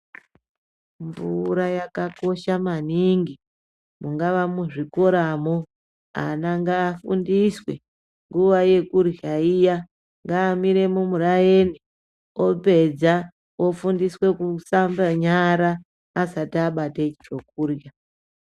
Mvura yakakosha maningi mungava muzvikoramo vana ngavafundiswe nguwa yekurya iya ngavamire mumurani apedza ofundiswe kushambe nyara asati abate chokurya.